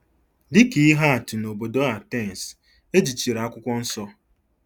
Dị ka ihe atụ, nobodo Atens, e jichiri Akwụkwọ Nsọ.